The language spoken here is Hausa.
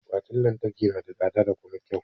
Akwatin lantarki na da tsada da kuma kyau.